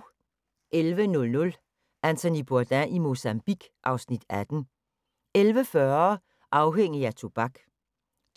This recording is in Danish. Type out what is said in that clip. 11:00: Anthony Bourdain i Mozambique (Afs. 18) 11:40: Afhængig af tobak